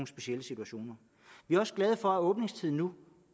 specielle situationer vi er også glade for at åbningstiden nu